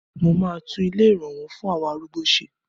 Mo máa tún ilé ìrànwó fún àwọn arúgbó ṣe.